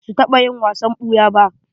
Ba su taɓa yin wasan ɓuya ba.